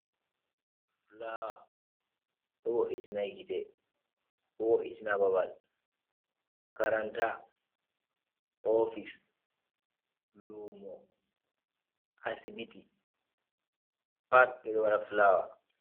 Flawer do wo'itina gitte, babal, makarant,a ofise, lumo, asibiti pat bedo wada flawer.